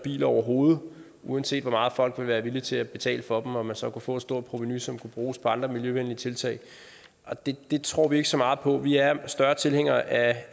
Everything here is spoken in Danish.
biler overhovedet uanset hvor meget folk vil være villige til at betale for dem og man så vil kunne få et stort provenu som kan bruges på andre miljøvenlige tiltag det tror vi ikke så meget på vi er større tilhængere af